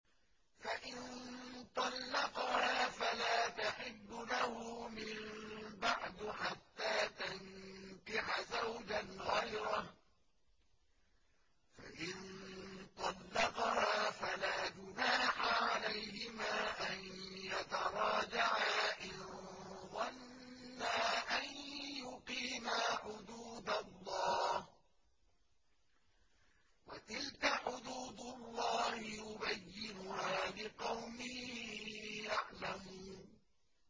فَإِن طَلَّقَهَا فَلَا تَحِلُّ لَهُ مِن بَعْدُ حَتَّىٰ تَنكِحَ زَوْجًا غَيْرَهُ ۗ فَإِن طَلَّقَهَا فَلَا جُنَاحَ عَلَيْهِمَا أَن يَتَرَاجَعَا إِن ظَنَّا أَن يُقِيمَا حُدُودَ اللَّهِ ۗ وَتِلْكَ حُدُودُ اللَّهِ يُبَيِّنُهَا لِقَوْمٍ يَعْلَمُونَ